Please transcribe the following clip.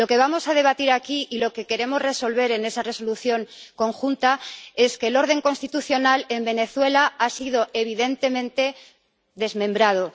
Lo que vamos a debatir aquí y lo que queremos resolver en esa Resolución común es que el orden constitucional en Venezuela ha sido evidentemente desmembrado.